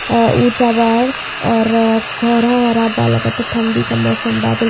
ऊंचा बा और कोहरा वोहरा बा लागत ता थंडी का मौसम बा --